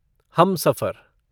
Humsafar